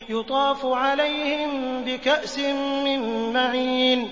يُطَافُ عَلَيْهِم بِكَأْسٍ مِّن مَّعِينٍ